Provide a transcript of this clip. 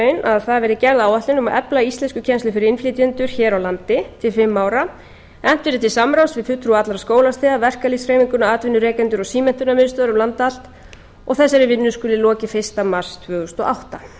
að það verði gerð áætlun um að efla íslenskukennslu fyrir innflytjendur hér á landi til fimm ára efnt verði til samráðs við fulltrúa allra skólastiga verkalýðshreyfinguna atvinnurekendur og símenntunarmiðstöðvar um land allt og að þessari vinnu skuli lokið fyrsta mars tvö þúsund og átta